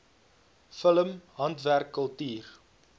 film handwerk kultuur